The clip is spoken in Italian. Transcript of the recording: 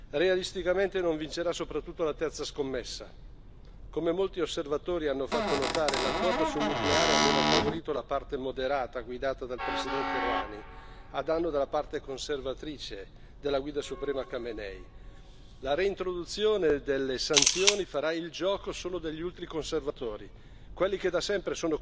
Come molti osservatori hanno fatto notare, l'accordo sul nucleare aveva favorito la parte moderata guidata dal Presidente Rohani a danno della parte conservatrice, della Guida suprema Khamenei. La reintroduzione delle sanzioni farà il gioco solo degli ultraconservatori, quelli che da sempre sono contrari al dialogo con gli Stati Uniti e l'Occidente in generale.